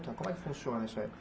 Como é que funciona isso aí?